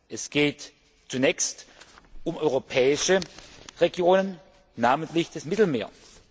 Es geht zunächst um europäische Regionen, namentlich das Mittelmeer.